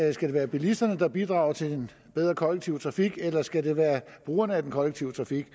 det skal være bilisterne der bidrager til en bedre kollektiv trafik eller skal være brugerne af den kollektive trafik